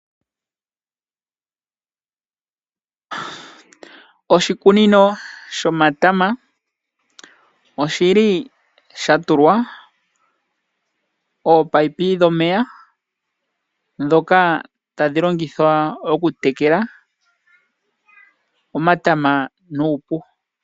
Oshikunino shomatama oshi li sha tulwa oopaipi dhomeya ndhoka tadhi longithwa okutekela omatama nuupu.